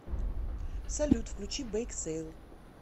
салют включи бейк сейл